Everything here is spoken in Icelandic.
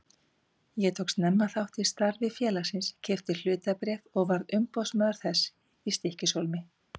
Ég tók snemma þátt í starfi félagsins, keypti hlutabréf og varð umboðsmaður þess í Stykkishólmi.